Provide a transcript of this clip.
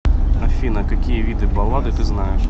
афина какие виды баллады ты знаешь